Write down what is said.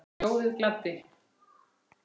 Ljóðið gladdi.